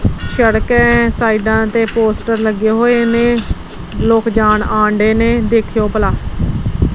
ਸੜਕੇ ਸਾਈਡਾਂ ਤੇ ਪੋਸਟਰ ਲੱਗੇ ਹੋਏ ਨੇ ਲੋਕ ਜਾਣ ਆਣ ਡਏ ਨੇ ਦੇਖਿਓ ਭਲਾ।